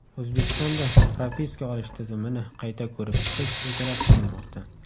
O‘zbekistonda propiska olish tizimini qayta ko‘rib chiqish rejalashtirilmoqda.